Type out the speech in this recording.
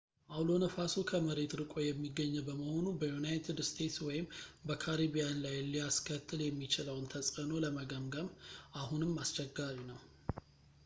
አውሎ ነፋሱ ከመሬት ርቆ የሚገኝ በመሆኑ በዩናይትድ እስቴትስ ወይም በካሪቢያን ላይ ሊያስከትል የሚችለውን ተጽዕኖ ለመገምገም አሁንም አስቸጋሪ ነው